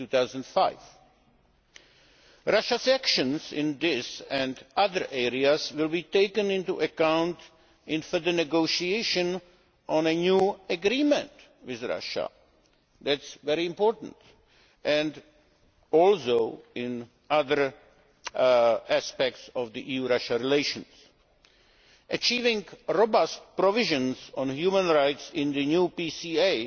2005. Russia's actions in this and other areas will be taken into account in the negotiations on a new agreement with Russia that is very important and also in other aspects of EU Russia relations. Achieving robust provisions on human rights in the new PCA